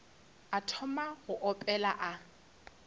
a thoma go opela a